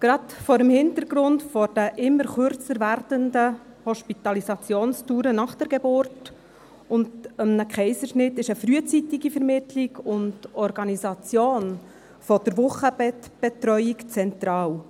Gerade vor dem Hintergrund der immer kürzer werdenden Hospitalisationsdauern nach der Geburt oder einem Kaiserschnitt, ist eine frühzeitige Vermittlung und Organisation der Wochenbettbetreuung zentral.